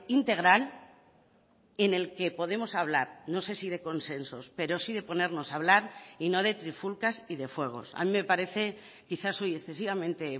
integral en el que podemos hablar no sé si de consensos pero sí de ponernos a hablar y no de trifulcas y de fuegos a mí me parece quizás soy excesivamente